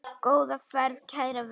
Góða ferð, kæra Veiga.